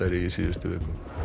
í síðustu viku